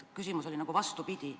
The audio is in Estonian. Küsimus oli nagu vastupidi.